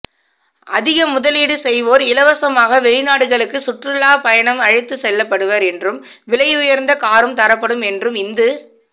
அதிக முதலீடு செய்வோர் இலவசமாக வெளிநாடுகளுக்குச் சுற்றுலா பயணம் அழைத்துச் செல்லப்படுவர் என்றும் விலையுயர்ந்த காரும் தரப்படும் என்றும் இந்து